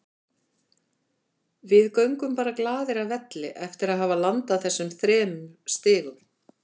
Við göngum bara glaðir af velli eftir að hafa landað þessum þremur stigum.